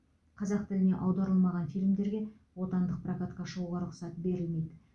қазақ тіліне аударылмаған фильмдерге отандық прокатқа шығуға рұқсат берілмейді